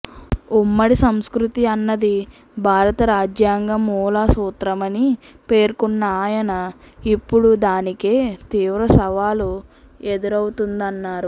ఉమ్మడి సంస్కృతి అన్నది భారత రాజ్యాంగ మూల సూత్రమని పేర్కొన్న ఆయన ఇప్పుడు దానికే తీవ్ర సవాలు ఎదురవుతోందన్నారు